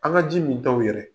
An' ŋa ji mintaw yɛrɛ